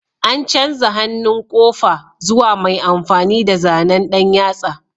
An canza hannun ƙofa zuwa mai amfani da zanen ɗan yatsa